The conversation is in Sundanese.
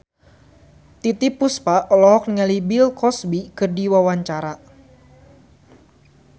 Titiek Puspa olohok ningali Bill Cosby keur diwawancara